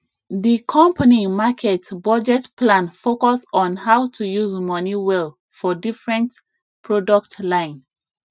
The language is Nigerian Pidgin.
the company market budget plan focus on how to use money well for different product line